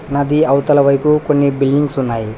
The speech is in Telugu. నది అవతల వైపు కొన్ని బిల్డింగ్స్ ఉన్నాయి.